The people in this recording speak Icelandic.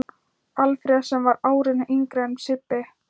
Alfreð sem var árinu yngri en Sibbi.